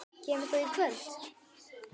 Kemur þú í kvöld?